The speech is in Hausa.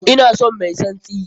Ina son mai tsantsi!